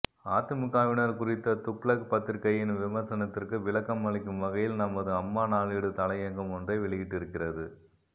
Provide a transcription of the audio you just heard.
அதிமுகவினர் குறித்த துக்ளக் பத்திரிகையின் விமர்சனத்திற்கு விளக்கம் அளிக்கும் வகையில் நமது அம்மா நாளேடு தலையங்கம் ஒன்றை வெளியிட்டிருக்கிறது